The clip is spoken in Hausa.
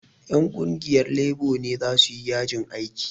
Ƴan ƙungiyar lebo ne za su yi yajin aiki